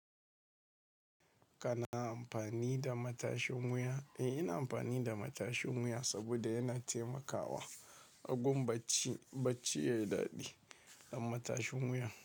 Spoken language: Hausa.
Kana amfani da matashin wuya? Eh, ina amfani da matashin wuya saboda yana taimakawa agon bacci, bacci yayi daɗi da matashin wuyan.